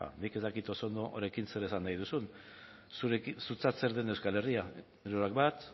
nik ez dakit oso ondo honekin zer esan nahi duzun zuretzat zer den euskal herria hirurak bat